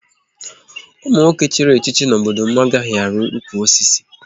Ụmụ nwoke chịrị echichi n'obodo m anaghị ari ụkwụ osisi